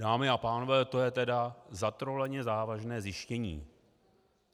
Dámy a pánové, to je tedy zatroleně závažné zjištění.